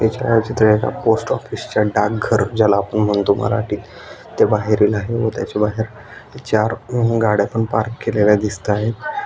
हे छायाचित्र एका पोस्ट ऑफिसच डाग घर ज्याला आपण म्हणतो मराठी ते बाहेर व त्याच्या बाहेर चार होम गाड्या पण पार्क केलेल्या दिसतायत.